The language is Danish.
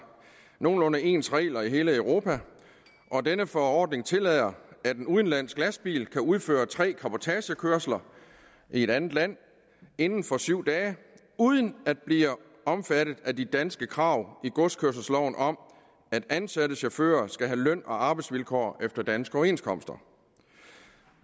nogenlunde ens regler i hele europa og denne forordning tillader at en udenlandsk lastbil kan udføre tre cabotagekørsler i et andet land inden for syv dage uden at blive omfattet af de danske krav i godskørselsloven om at ansatte chauffører skal have løn og arbejdsvilkår efter danske overenskomster